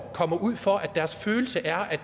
kommer ud for at deres følelse er at